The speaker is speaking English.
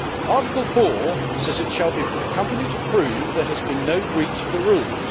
Article 4 says it shall be for the company to prove there has been no breach of the rules.